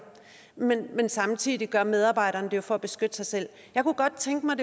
men samtidig gør medarbejderen det jo for at beskytte sig selv jeg kunne godt tænke mig